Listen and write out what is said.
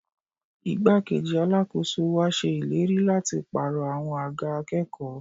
Igbá-kejì Alákóso wa ṣe ìlérí láti pàrọ̀ àwọn àga akẹ́kọ̀ọ́